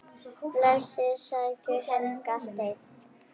Bæði sest í helgan stein.